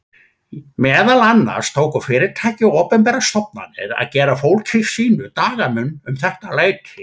Meðal annars tóku fyrirtæki og opinberar stofnanir að gera fólki sínu dagamun um þetta leyti.